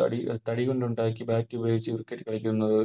തടി തടികൊണ്ടുണ്ടാക്കിയ Bat ഉപയോഗിച്ച് Cricket കളിക്കുന്നത്